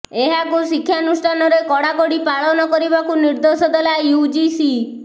ଏହାକୁ ଶିକ୍ଷାନୁଷ୍ଠାନରେ କଡାକଡି ପାଳନ କରିବାକୁ ନିର୍ଦ୍ଦେଶ ଦେଲା ୟୁଜିସି